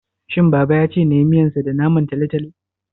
shin baba yace nayi miyansa da Naman talotalo?